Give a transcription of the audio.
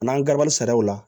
N'an garabali sariya la